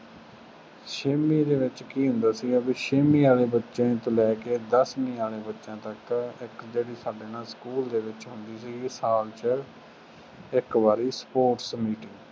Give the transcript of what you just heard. ਛੇਵੀਂ ਦੇ ਵਿੱਚ ਕੀ ਹੁੰਦਾ ਸੀਗਾ ਬਈ ਛੇਵੀਂ ਵਾਲੇ ਬੱਚੇ ਤੋਂ ਲੈ ਕੇ ਦੱਸਵੀਂ ਵਾਲੇ ਬੱਚਿਆਂ ਤੱਕ ਇੱਕ ਜਿਹੜੀ ਸਾਡੇ ਨਾ ਸਕੂਲ ਦੇ ਵਿੱਚ ਹੁੰਦੀ ਸੀਗੀ, ਸਾਲ ਚ ਇੱਕ ਵਾਰੀ sports meet